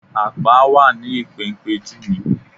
Àpá wà ní ìpéǹpéju mi